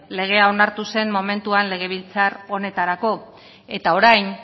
legea onartu zen momentuan legebiltzar honetarako eta orain